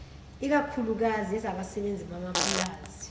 ikakhuklukazi ezabasebenzi bamapulazi